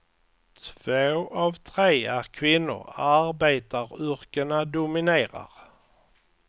Två av tre är kvinnor, arbetaryrkena dominerar.